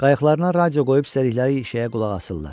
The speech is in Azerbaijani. Qayıqlarına radio qoyub istədikləri şeyə qulaq asırlar.